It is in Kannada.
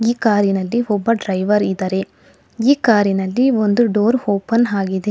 ಈ ಕಾರಿ ನಲ್ಲಿ ಒಬ್ಬ ಡ್ರೈವರ್ ಇದಾರೆ ಈ ಕಾರಿನಲ್ಲಿ ಒಂದು ಡೋರ್ ಓಪನ್ ಆಗಿದೆ.